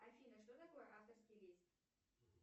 афина что такое авторский лист